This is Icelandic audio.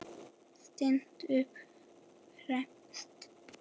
Stillt upp fremst.